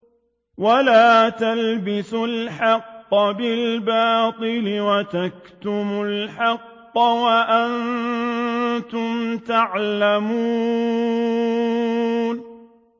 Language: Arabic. وَلَا تَلْبِسُوا الْحَقَّ بِالْبَاطِلِ وَتَكْتُمُوا الْحَقَّ وَأَنتُمْ تَعْلَمُونَ